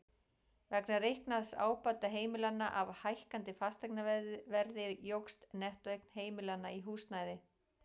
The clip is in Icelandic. Vegna reiknaðs ábata heimilanna af hækkandi fasteignaverði jókst nettóeign heimilanna í húsnæði.